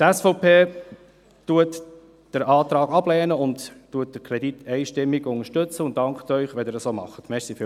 Die SVP lehnt den Antrag ab, unterstützt den Kredit einstimmig und dankt Ihnen, wenn Sie dies auch tun.